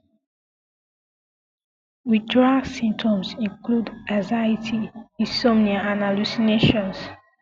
withdrawal symptoms include anxiety insomnia and hallucinations